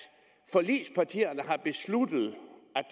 forligspartierne har besluttet